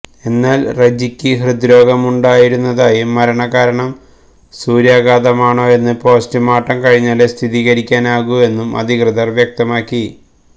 എന്നാൽ റജിക്ക് ഹൃദ്രോഗമുണ്ടായിരുന്നതായും മരണകാരണം സൂര്യാഘാതമാണോ എന്ന് പോസ്റ്റ് മോർട്ടം കഴിഞ്ഞാലേ സ്ഥിരീകരിക്കാനാവൂ എന്നും അധികൃതർ വ്യക്തമാക്കി